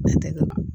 Ne tɛ ka